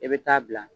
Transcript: I bɛ taa bila